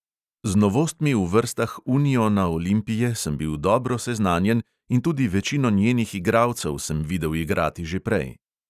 Z novostmi v vrstah uniona olimpije sem bil dobro seznanjen in tudi večino njenih igralcev sem videl igrati že prej.